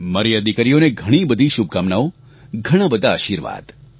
મારી આ દિકરીઓને ઘણીબધી શુભકામનાઓ ઘણાંબધા આશીર્વાદ